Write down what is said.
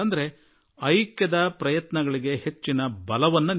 ನಾವು ಏಕತೆಗೆ ಬಲ ಕೊಡುವ ಮಾತುಗಳಿಗೆ ಹೆಚ್ಚಿನ ಶಕ್ತಿ ತುಂಬೋಣ